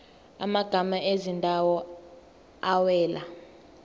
amagama ezindawo awela